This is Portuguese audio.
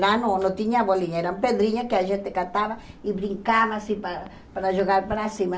Lá não não tinha bolinha, era pedrinha que a gente catava e brincava assim para para jogar para cima.